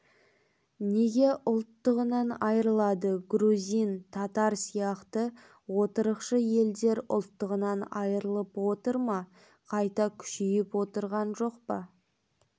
неге ұлттығынан айрылады грузин татар сияқты отырықшы елдер ұлттығынан айырылып отыр ма қайта күшейіп отырған жоқ па